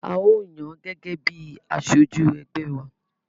A ó yàn án gẹ́gẹ́ bíi aṣojú ẹgbẹ́ wa.